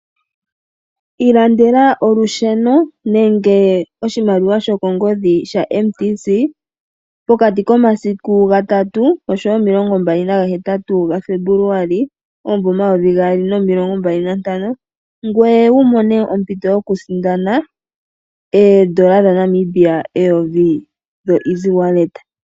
Ilandela olusheno nenge ethimbo lyokongodhi lyaMTC pokati komasiku ga3 sigo 28 Febuluali 2025, ngoye wu mone ompito yokusindana ooN$ 1000 dhoEasywallet.